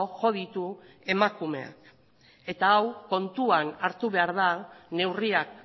jo ditu emakumeak eta hau kontuan hartu behar da neurriak